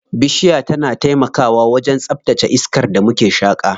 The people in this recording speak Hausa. Bishiya tana taimakawa wajen tsaftace iskar da muke shaƙa.